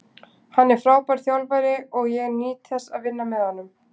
Hann er frábær þjálfari og ég nýt þess að vinna með honum.